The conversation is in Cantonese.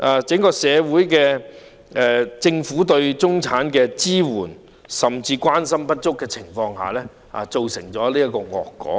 政府是在對中產人士的支援和關心不足的情況下，造成了這個惡果。